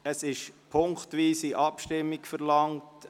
Es wird punktweise Abstimmung verlangt.